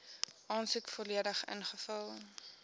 aansoek volledig ingevul